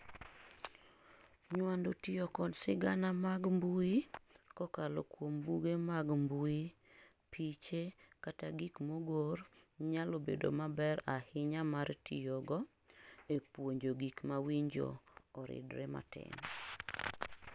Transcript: Nywando tiyo kod sigana mag mbui kokalo kuom buge mag mbui, piche kata gik mogor nyalo bedo maber ahinya mar tiyogo epuonjo gik mawinjo oridre matin.